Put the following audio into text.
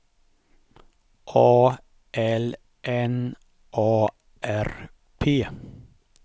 A L N A R P